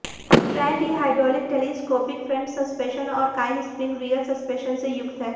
trend ई hydraulic telescopic front suspension और coil spring rear suspension से युक्त है